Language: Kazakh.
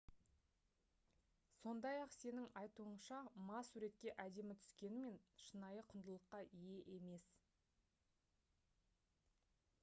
сондай-ақ сеның айтуынша ма суретке әдемі түскенімен шынайы құндылыққа ие емес